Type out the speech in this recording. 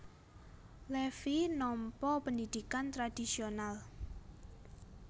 Levi nampa pendhidhikan tradhisional